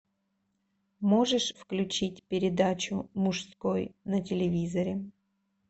можешь включить передачу мужской на телевизоре